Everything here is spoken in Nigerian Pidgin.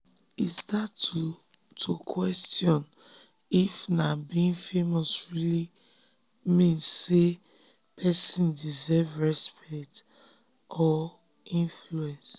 e start to to question if na being famous really mean say person deserve respect or influence.